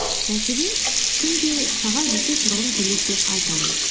мәселен күнде сағат бесте тұрғым келеді деп айтамын